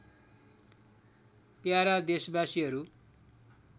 para देशबासीहरू